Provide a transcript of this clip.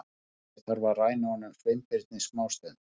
Ég þarf að ræna honum Sveinbirni smástund- sagði